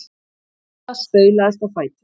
Milla staulaðist á fætur.